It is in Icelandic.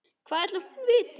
Hvað ætli hún viti?